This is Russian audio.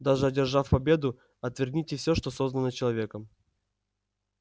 даже одержав победу отвергните все что создано человеком